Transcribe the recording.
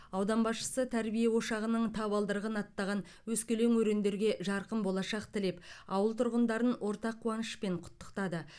аудан басшысы тәрбие ошағының табалдырығын аттаған өскелең өрендерге жарқын болашақ тілеп ауыл тұрғындарын ортақ қуанышпен құттықтады